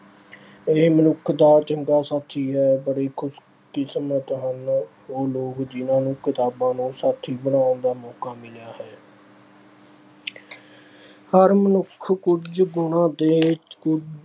ਇਹ ਮਨੁੱਖ ਦਾ ਚੰਗਾ ਸਾਥੀ ਹੈ। ਬੜੇ ਖੁਸ਼ਕਿਸਮਤ ਅਹ ਹਨ ਉਹ ਲੋਕ ਜਿਹਨਾਂ ਨੂੰ ਕਿਤਾਬਾਂ ਨੂੰ ਸਾਥੀ ਬਣਾਉਣ ਦਾ ਮੌਕਾ ਮਿਲਿਆ ਹੈ। ਹਰ ਮਨੁੱਖ ਕੁਝ ਗੁਣਾਂ ਦੇ ਕੁਝ